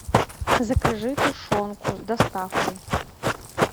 закажи тушенку с доставкой